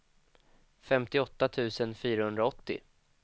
femtioåtta tusen fyrahundraåttio